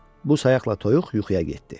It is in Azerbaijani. Bu sayaqla toyuq yuxuya getdi.